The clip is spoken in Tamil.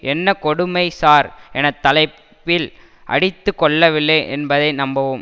என்ன கொடுமை சார் என தலைப்பில் அடித்து கொள்ளவில்லை என்பதை நம்பவும்